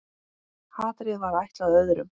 Hatrið var ætlað öðrum.